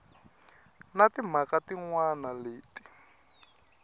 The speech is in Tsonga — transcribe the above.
na timhaka tin wana leti